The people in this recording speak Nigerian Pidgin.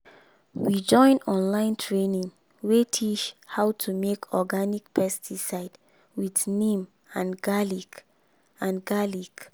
we join online training wey teach how to make organic pesticide with neem and garlic. and garlic.